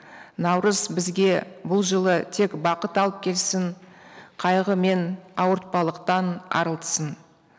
наурыз бізге бұл жылы тек бақыт алып келсін қайғы мен ауыртпалықтан арылтсын